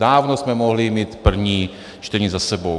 Dávno jsme mohli mít první čtení za sebou.